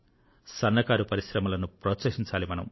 సన్నకారు పరిశ్రమలను ప్రోత్సహించాలి మనం